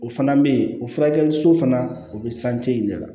O fana bɛ yen o furakɛli so fana o bɛ in de la